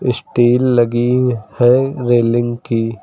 Steel लगी है railing की।